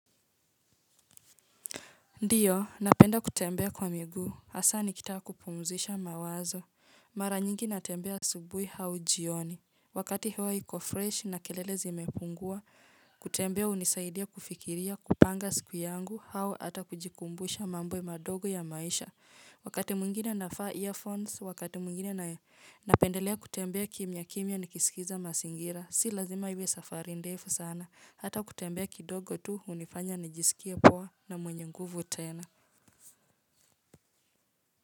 Ndio, napenda kutembea kwa miguu. Hasa, nikitaka kupumzisha mawazo. Mara nyingi natembea asubuhi hau jioni. Wakati hewa iko fresh na kelele zimepungua. Kutembea unisaidia kufikiria kupanga siku yangu hao ata kujikumbusha mambo madogo ya maisha. Wakati mwingine nafaa earphones, wakati mwingine na napendelea kutembea kimya kimya nikisikiza masingira, si lazima iwe safari ndefu sana, hata kutembea kidogo tu hunifanya nijisikie poa na mwenye nguvu tena.